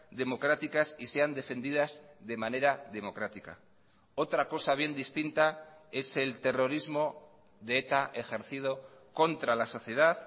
democráticas y sean defendidas de manera democrática otra cosa bien distinta es el terrorismo de eta ejercido contra la sociedad